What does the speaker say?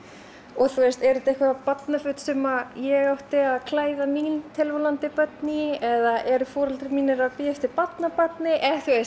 og eru þetta barnaföt sem ég átti að klæða mín tilvonandi börn í eða eru foreldrar mínir að bíða eftir barnabarni